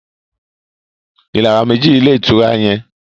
ìràwọ meji ní Ilé-ìtura yén.